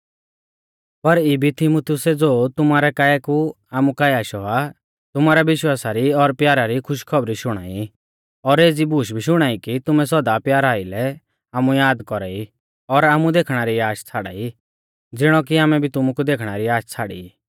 पर इबी तीमुथियुसै ज़ो तुमारै काऐ कु आमु काऐ आशौ आ तुमारै विश्वासा री और प्यारा री खुशखौबरी शुणाई और एज़ी बूश भी शुणाई कि तुमै सौदा प्यारा आइलै आमु याद कौरा ई और आमु देखणा री आश छ़ाड़ाई ज़िणौ कि आमै भी तुमु देखणा री आश छ़ाड़ी ई